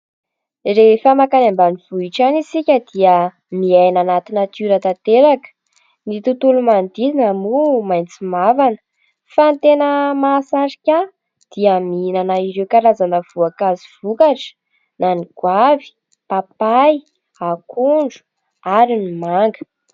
Rehefa mankany ambanivohitra any isika dia miaina anaty natiora tanteraka. Ny tontolo manodidina moa maitso mavana. Fa ny tena mahasarika ahy dia mihinana ireo karazana voankazo vokatra na ny goavy, papay, akondro ary ny manga.